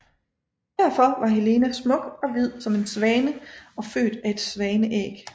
Derfor var Helena smuk og hvid som en svane og født af et svaneæg